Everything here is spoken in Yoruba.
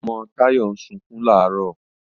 Ọmọ Táyọ̀ ń sunkún làárọ̀